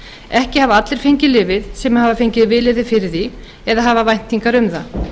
ekki hafa allir fengið lyfið sem hafa fengið vilyrði fyrir því eða hafa væntingar um það